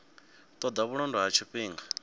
ṱo ḓa vhulondo ha tshifhinga